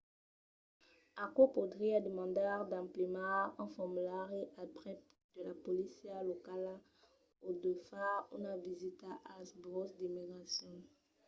aquò podriá demandar d‘emplenar un formulari al prèp de la polícia locala o de far una visita als burèus d’immigracion